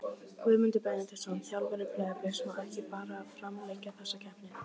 Guðmundur Benediktsson, þjálfari Breiðabliks Má ekki bara framlengja þessa keppni?